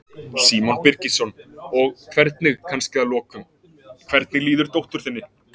Símon Birgisson: Og hvernig, kannski að lokum, hvernig líður dóttur þinni?